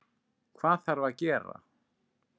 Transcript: Hvað þarf að gera?